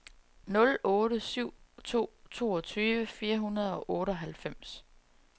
nul otte syv to toogtyve fire hundrede og otteoghalvfems